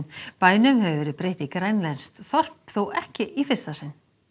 bænum hefur verið breytt í grænlenskt þorp þó ekki í fyrsta sinn